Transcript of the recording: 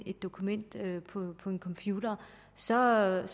et dokument på en computer så er